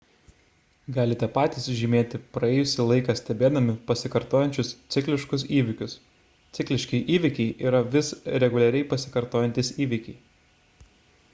galite patys žymėti praėjusį laiką stebėdami pasikartojančius cikliškus įvykius cikliški įvykiai yra vis reguliariai pasikartojantys įvykiai